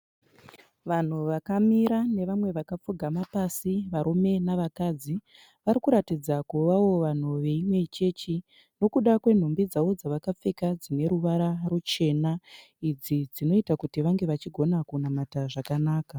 Vanhu vakamira nevamwe vakapfugama pasi varume nevakadzi vari kuratidza kuvawo vanhu veimwe chechi nekuda kwenhumbi dzavakapfeka dzine ruvara ruchena idzi dzinoita kuti vange vachigona kunamata zvakanaka